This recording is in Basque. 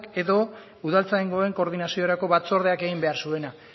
edo udaltzaingoen koordinaziorako batzordeak egin behar zuena